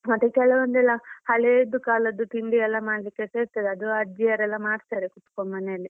ಮತ್ತೆ ಕೆಲವೊಂದೆಲ್ಲ ಹಳೇದು ಕಾಲದ್ದು ತಿಂಡಿಯೆಲ್ಲ ಮಾಡ್ಲಿಕ್ಕೆಸ ಇರ್ತದೆ ಅದು ಅಜ್ಜಿಯರೆಲ್ಲ ಮಾಡ್ತಾರೆ ಕೂತ್ಕೊಂಡ್ ಮನೆಯಲ್ಲೇ.